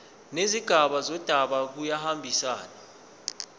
nezigaba zendaba kuyahambisana